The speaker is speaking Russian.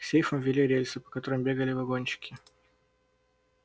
к сейфам вели рельсы по которым бегали вагончики